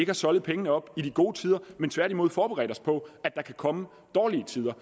har soldet pengene op i de gode tider men tværtimod forberedt os på at der kan komme dårlige tider